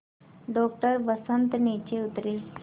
doctor Vasant नीचे उतरे